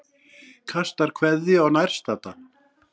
Kastar kveðju á nærstadda.